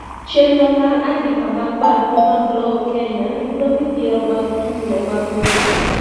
chenro mar andika mag barupe mag lowo Kenya yudo midhiero mag tulo mag lowo